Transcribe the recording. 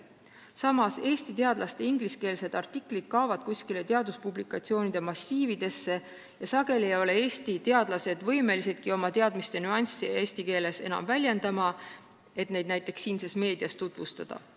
Samas kaovad Eesti teadlaste ingliskeelsed artiklid kuskile teaduspublikatsioonide massiividesse ja sageli ei ole Eesti teadlased võimelisedki oma teadmiste nüansse eesti keeles väljendama, et neid näiteks siinses meedias tutvustada.